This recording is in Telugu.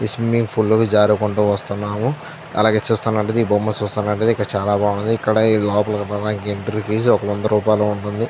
ఈ స్విమ్మింగ్ పూల్ లో జారుకుంటూ వస్తున్నాము అలాగే చూస్తున్నట్లు అయితే ఈ బొమ్మ చూస్తున్నట్లైతే ఇక్కడ చాల బాగుంది ఇక్కడ ఈ లోపల పోవాలా అంటే ఎంట్రీ ఫీజు వంద రూపాయలు ఉంటుంది.